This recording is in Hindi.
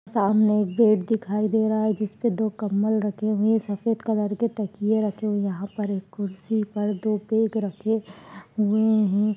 सामने एक बेड दिखाई दे रहा है जिस पे दो कम्बल रखे हुए हैं सफ़ेद कलर के तकिये रखे हुए हैं। यहाँ पर एक कुर्सी पर दो बेग रखे हुए हैं।